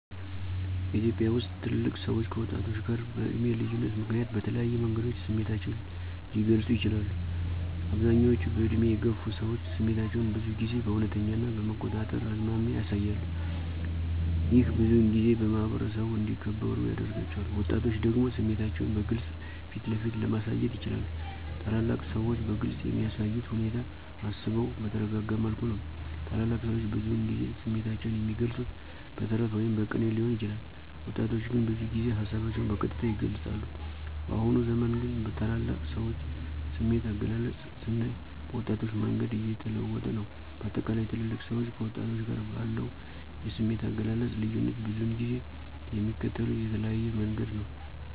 በኢትዮጵያ ውስጥ ትልልቅ ሰዎች ከወጣቶች ጋር በዕድሜ ልዩነት ምክንያት በተለያዩ መንገዶች ስሜታቸውን ሊገልጹ ይችላሉ፦ አብዛኞቹ በዕድሜ የገፉ ሰዎች ስሜታቸውን ብዙ ጊዜ በእውነተኛ ና በመቆጣጠር አዝማሚያ ያሳያሉ። ይህ ብዙውን ጊዜ በማኅበረሰቡ እንዲከበሩ ያደርጋቸዋል። ወጣቶች ደግሞ ስሜታቸውን በግልጽ ፊትለፊት ለማሳየት ይችላሉ። ታላላቅ ሰዎች በግልፅ የሚያሳዩት ሁኔታ አስበው በተረጋጋ መልኩ ነው። ታላላቅ ሰዎች ብዙውን ጊዜ ስሜታቸውን የሚገልፁት በተረት ወይም በቅኔ ሊሆን ይችላል። ወጣቶች ግን ብዙ ጊዜ ሀሳባቸውን በቀጥታ ይገልፃሉ። በአሁኑ ዘመን ግን ታላላቅ ሰዎች የስሜት አገላለጽ ስናይ በወጣቶች መንገድ እየተለወጠ ነው። በአጠቃላይ ትልልቅ ሰዎች ከወጣቶች ጋር ባለው የስሜት አገላለጽ ልዩነት ብዙውን ጊዜ የሚከተሉት የተለያየ መንገድ ነው።